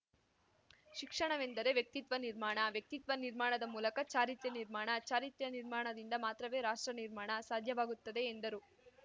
ಶಿಕ್ಷಣವೆಂದರೆ ವ್ಯಕ್ತಿತ್ವ ನಿರ್ಮಾಣ ವ್ಯಕ್ತಿತ್ವ ನಿರ್ಮಾಣದ ಮೂಲಕ ಚಾರಿತ್ರ್ಯ ನಿರ್ಮಾಣ ಚಾರಿತ್ರ್ಯ ನಿರ್ಮಾಣದಿಂದ ಮಾತ್ರವೇ ರಾಷ್ಟ್ರ ನಿರ್ಮಾಣ ಸಾಧ್ಯವಾಗುತ್ತದೆ ಎಂದರು